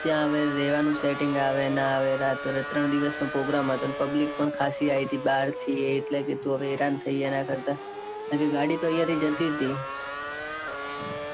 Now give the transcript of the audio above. ત્યાં હવે રેવાનું setting આવે ન ના આવે. ને ત્રણ દિવસ નો program હતો. public પણ ખાંસી આવી હતી. બારથી એટલે કીધું હેરાન થઈએ. એના કરતા. નકે ગાડી તો અહીંયા થી જતી જ તી.